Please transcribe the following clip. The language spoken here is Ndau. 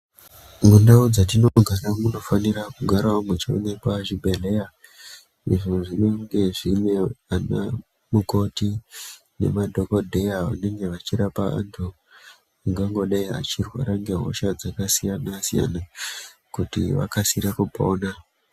Mundau dztinogara munofanira kugarawo muchioneka zvibhedhleya izvo zvinenge zvine ana mukoti b nemadhokodheya anenge achirapa antu ungangodai achirwara ngehosha dzakasiyana siyana kuti akasire kupona.